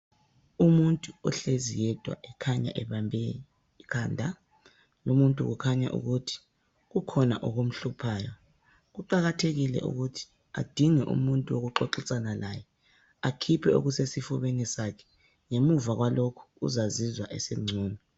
Umuntu ohlezi yedwa ekhanya ebambe ikhanda lumuntu kukhanya ukuthi kukhona okumhluphayo kuqakathekile ukuthi adinge umuntu wokuxoxisana laye akhiphe okusesifubeni sakhe ngemuva kwalokho uzazizwa esengcono